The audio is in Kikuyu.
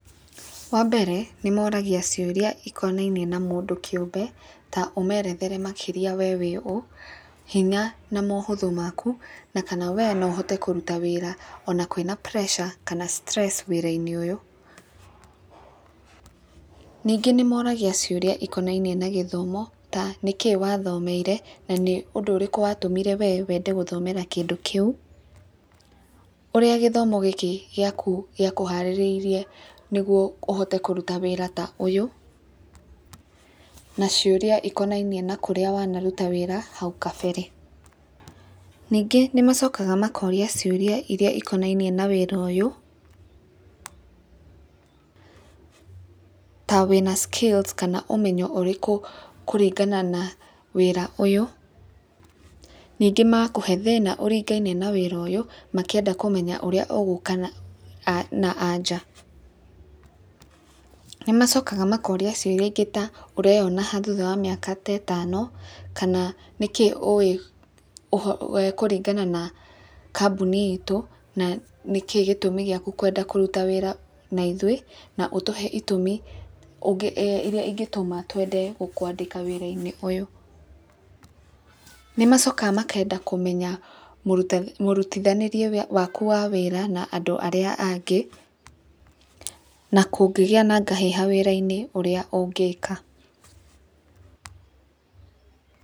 Wa mbere, nĩ moragia ciũria ikonainie na mũndũ kĩũmbe ta ũmerethere makĩria wee wĩ ũũ. Hinya, na maũhũthũ maku, na kana wee no ũhote kũruta wĩra ona kwĩna pressure kana stress wĩrainĩ ũyũ. Ningĩ nĩmoragia ciũria cikonainie na gĩthomo, ta nĩkĩĩ wathomeire na nĩũndũ ũrĩkũ watũmire wee wende gũthomera kĩndũ kĩu. Ũrĩa gĩthomo gĩkĩ gĩaku gĩakũharĩrĩirie nĩguo ũhote kũruta wĩra ta ũyũ. Na ciũria ikonainie na kũrĩa wanaruta wĩra hau kabere. Ningĩ nĩ macokaga makoria ciũria iria ikonainie na wĩra ũyũ, ta wĩna skills kana ũmenyo ũrĩkũ kũringana na wĩra ũyũ, ningĩ magakũhe thĩna ũringaine na wĩra ũyũ makĩenda kũmenya ũrĩa ũgũka na anja. Nĩ macokaga makoria ciũrĩa ingĩ ta ũreyona ha thutha wa mĩaka ta ĩtano, kana nĩkĩĩ ũĩ kũringana na kambuni itũ na nĩkĩĩ gĩtũmi gĩaku kwenda kũruta wĩra na ithuĩ, na ũtũhe itũmi iria ingĩtũma twende gũkwandĩka wĩrainĩ ũyũ. Nĩ macokaga makenda kũmenya mũrutithanĩrie waku wa wĩra na andũ arĩa angĩ na kũngĩgĩa na ngahĩha wĩra-inĩ ũrĩa ũngĩka.